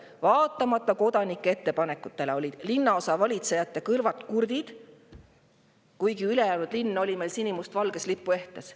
Vaatamata kodanike ettepanekutele olid linnaosa valitsejate kõrvad kurdid, kuigi ülejäänud linn oli sinimustvalges lipuehtes.